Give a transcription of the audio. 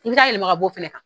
I bi taa yɛlɛma ka bo fɛnɛ kan.